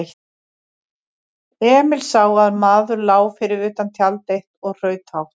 Emil sá að maður lá fyrir utan tjald eitt og hraut hátt.